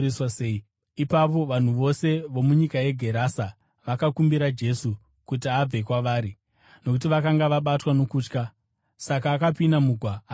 Ipapo vanhu vose vomunyika yeGerase vakakumbira Jesu kuti abve kwavari, nokuti vakanga vabatwa nokutya. Saka akapinda mugwa akaenda.